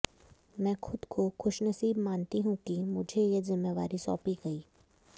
मैं खुद को खुशनसीब मानती हूं कि मुझे ये ज़िमेवारी सौंपी गयी